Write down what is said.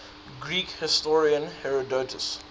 greek historian herodotus